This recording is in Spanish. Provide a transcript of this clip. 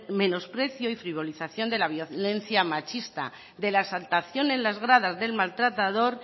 menosprecio y frivolización de la violencia machista de la exaltación en las gradas del maltratador